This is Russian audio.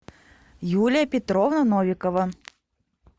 юлия петровна новикова